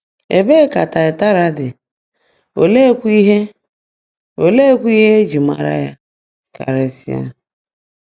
Ebee ka Taịataịra dị, oleekwa ihe e oleekwa ihe e ji mara ya karịsịa?